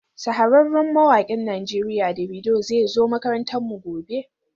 Shahararren mawakin Najeriya Davido zai zo makarantarmu gobe,